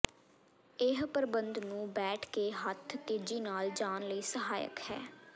ਇਹ ਪ੍ਰਬੰਧ ਨੂੰ ਬੈਠ ਕੇ ਹੱਥ ਤੇਜ਼ੀ ਨਾਲ ਜਾਣ ਲਈ ਸਹਾਇਕ ਹੈ